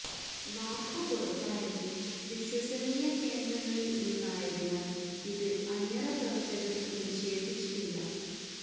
വാർത്ത പുറത്തായത് വിശ്വസനീയ കേന്ദ്രങ്ങളിൽ നിന്നായതിനാൽ ഇത് അണിയറ പ്രവർത്തകർ നിക്ഷേധിച്ചിട്ടില്ല